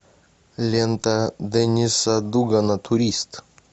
лента денниса дугана турист